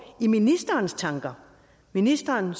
i ministerens tanker ministeren er